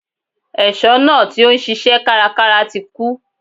Ẹ̀ṣọ́ náà tí ó ń ṣisẹ́ kárakára ti kú.